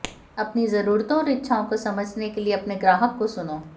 अपनी जरूरतों और इच्छाओं को समझने के लिए अपने ग्राहक को सुनो